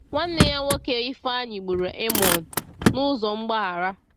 Nwanne ya nwoke Ifeanyi gburu Amnon n’ụzọ mgbaghara.